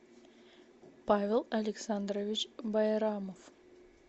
павел александрович байрамов